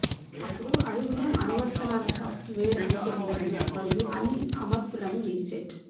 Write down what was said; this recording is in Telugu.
అప్పుడు అడుగును అనువర్తనాల సాఫ్ట్వేర్ అనుసరించండి మరియు అన్ని అమర్పులను రీసెట్